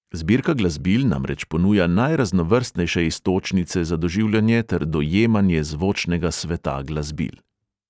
Zbirka glasbil namreč ponuja najraznovrstnejše iztočnice za doživljanje ter dojemanje zvočnega sveta glasbil.